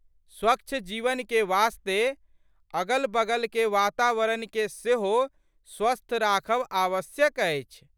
स्वच्छ जीवनके वास्ते अगलबगलके वातावरणके सेहो स्वस्थ राखब आवश्यक अछि।